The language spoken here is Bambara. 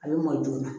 A bɛ mɔn joona